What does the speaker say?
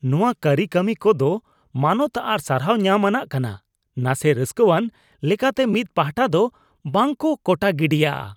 ᱱᱚᱶᱟ ᱠᱟᱹᱨᱤᱠᱟᱹᱢᱤ ᱠᱚ ᱫᱚ ᱢᱟᱱᱚᱛ ᱟᱨ ᱥᱟᱨᱦᱟᱣ ᱧᱟᱢ ᱟᱱᱟᱜ ᱠᱟᱱᱟ, ᱱᱟᱥᱮ ᱨᱟᱹᱥᱠᱟᱹᱣᱟᱱ ᱞᱮᱠᱟᱛᱮ ᱢᱤᱫ ᱯᱟᱦᱴᱟ ᱫᱚ ᱵᱟᱝ ᱠᱚ ᱠᱚᱴᱟ ᱜᱤᱰᱤᱜᱼᱟ ᱾